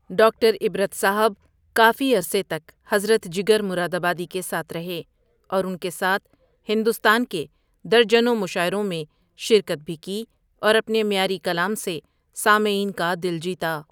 ڈ اکٹر عبرت ؔصاحب کافی عرصے تک حضرت جگرؔ مرادآبادی کے ساتھ رہے اور ان کے ساتھ ہندوستان کے درجنوں مشاعروں میں شرکت بھی کی اور اپنے معیاری کلام سے سامعین کا دل جیتا.